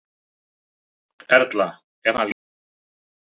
Erla: Er hann líkur einhverjum?